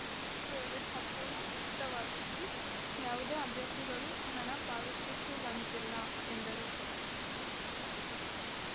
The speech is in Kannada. ಈ ವೇಳೆ ಸಂಪೂರ್ಣ ಉಚಿತವಾಗಿದ್ದು ಯಾವುದೇ ಅಭ್ಯರ್ಥಿಗಳು ಹಣ ಪಾವತಿಸುವಂತಿಲ್ಲ ಎಂದರು